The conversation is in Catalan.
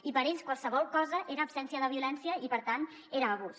i per ells qualsevol cosa era absència de violència i per tant era abús